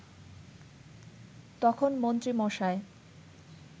তখন মন্ত্রীমশাই